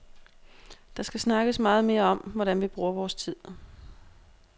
Der skal snakkes meget mere om, hvordan vi bruger vores tid.